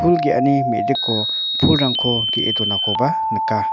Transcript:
pul ge·ani me·diko pulrangko ge·e donakoba nika.